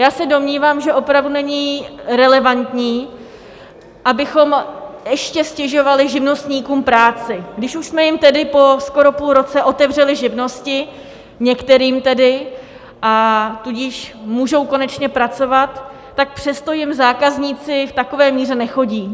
Já se domnívám, že opravdu není relevantní, abychom ještě ztěžovali živnostníkům práci, když už jsme jim tedy po skoro půl roce otevřeli živnosti, některým tedy, a tudíž můžou konečně pracovat, tak přesto jim zákazníci v takové míře nechodí.